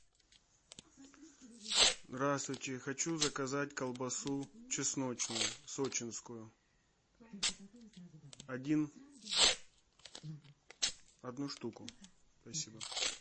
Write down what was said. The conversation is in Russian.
здравствуйте хочу заказать колбасу чесночную сочинскую один одну штуку спасибо